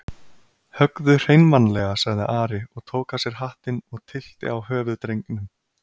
Höggðu hreinmannlega, sagði Ari og tók af sér hattinn og tyllti á höfuð drengnum.